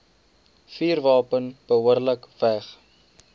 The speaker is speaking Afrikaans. vuurwapen behoorlik weg